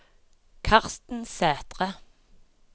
Karsten Sæthre